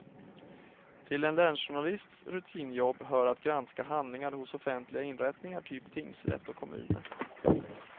Till en länsjournalists rutinjobb hör att granska handlingar hos offentliga inrättningar, typ tingsrätt och kommuner.